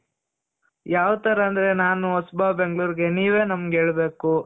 ಯಾವ್ ತರ ಅಂದ್ರೆ ನಾನು ಹೊಸಬ ಬೆಂಗ್ಳೂರ್ ಗೆ ನೀವೇ ನಮ್ಗೆ ಹೇಳ್ಬೇಕು.